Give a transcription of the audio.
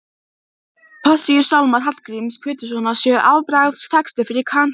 Kennaraskólann sem stendur í útjaðri bæjarins með útsýni til